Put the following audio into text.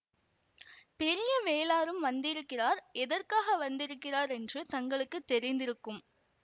பெரிய வேளாரும் வந்திருக்கிறார் எதற்காக வந்திருக்கிறார் என்று தங்களுக்கு தெரிந்திருக்கும்